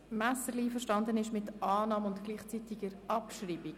Messerli ist mit der Annahme und der gleichzeitigen Abschreibung einverstanden.